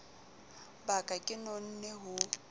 ba ka ke nonne ho